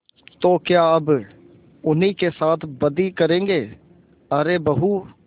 तो क्या अब उन्हीं के साथ बदी करेंगे अरे बहू